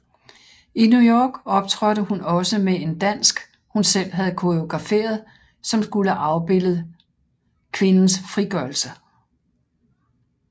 I New York optrådte hun også med en dansk hun selv havde koreograferet som skulle afbillede kvindes frigørelse